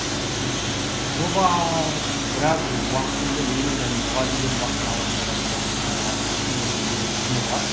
жоба біраз уақытымды менің және мұғалімдердің уақытын алатын болған соң ыыы кішкене бір өзінің құны бар